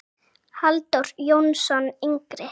Halldór Jónsson yngri.